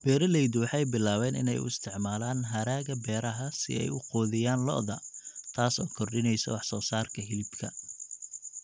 Beeraleydu waxay bilaabeen inay u isticmaalaan hadhaaga beeraha si ay u quudiyaan lo'da, taas oo kordhinaysa wax-soosaarka hilibka.